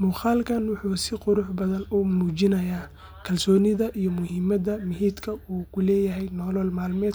muqalkan wuxu sii qurux badan uu mujinaaya kalsonida iyo muhimada uu mihitka uku leyahay nolol malmedka